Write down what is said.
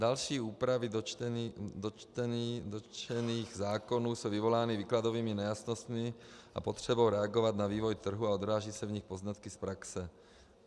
Další úpravy dotčených zákonů jsou vyvolány výkladovými nejasnostmi a potřebou reagovat na vývoj trhu a odrážejí se v nich poznatky z praxe.